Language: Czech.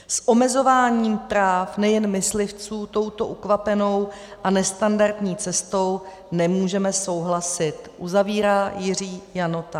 S omezováním práv nejen myslivců touto ukvapenou a nestandardní cestou nemůžeme souhlasit,'" uzavírá Jiří Janota.